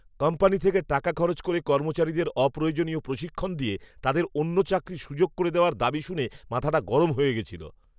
Company থেকে টাকা খরচ করে কর্মচারীদের অপ্রয়োজনীয় প্রশিক্ষণ দিয়ে তাদের অন্য চাকরির সুযোগ করে দেওয়ার দাবি শুনে মাথাটা গরম হয়ে গেছিল।